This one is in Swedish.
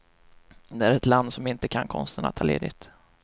Det är ett land som inte kan konsten att ta ledigt.